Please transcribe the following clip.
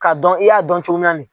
Ka dɔn i y'a dɔn cogoya min na in